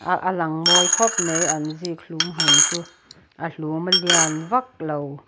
alang mawi khawp mai an zikhlum hmun chu a hlum a lian vak lo.